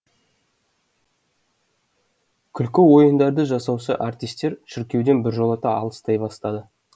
күлкі ойындарды жасаушы артистер шіркеуден біржолата алыстай бастады